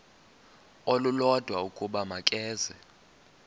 olulodwa ukuba makeze